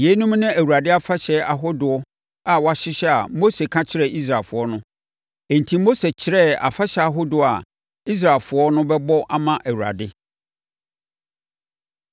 Yeinom ne Awurade afahyɛ ahodoɔ a wahyehyɛ a Mose ka kyerɛɛ Israelfoɔ no. Enti, Mose kyerɛɛ afahyɛ ahodoɔ a Israelfoɔ no bɛbɔ ama Awurade.